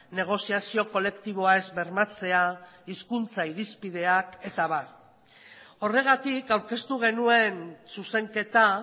negoziazio kolektiboa ez bermatzea hizkuntza irizpideak eta abar horregatik aurkeztu genuen zuzenketa